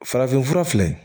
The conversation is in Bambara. Farafinfura filɛ